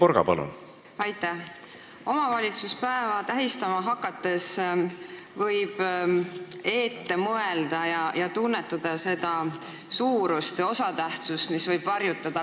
Võib ette tunnetada, et kui omavalitsuspäeva tähistama hakatakse, siis kujuneb see päev väga oluliseks.